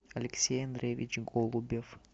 алексей андреевич голубев